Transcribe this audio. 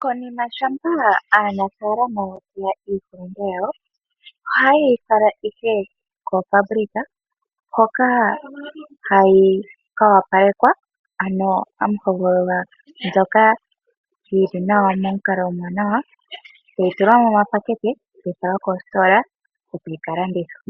Konima shampa aanafaalama ya teya iihulinde yawo, ohaye yi fala ihe koofaabulika hoka hayi ka opalekwa, ano hamu hogololwa mbyoka yi li nawa momukalo omwaanawa, tayi tulwa momapakete, tayi falwa koositola oko yi ka landithwe.